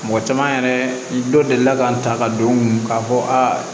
Mɔgɔ caman yɛrɛ dɔ delila ka n ta ka don n kun k'a fɔ aa